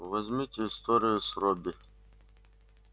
возьмите историю с робби